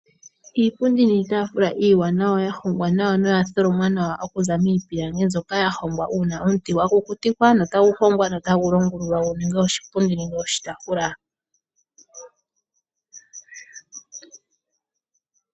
Iipundi niitafula iiwanawa, ya hongwa nawa, noya tholomwa nawa, okuza miipilangi mbyoka ya hongwa uuna omuti gwa kukutikwa, notagu hongwa e ta gu longulululwa gu ninge oshipundi nenge oshitaafula.